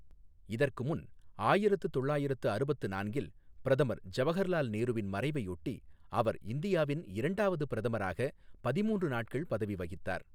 இதற்குமுன், ஆயிரத்து தொள்ளாயிரத்து அறுபத்து நான்கில் பிரதமர் ஜவஹர்லால் நேருவின் மறைவையொட்டி, அவர் இந்தியாவின் இரண்டாவது பிரதமராக பதிமூன்று நாட்கள் பதவி வகித்தார்.